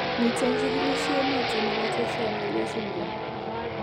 Miten chikilisiet noton nebo tetra amelia syndrome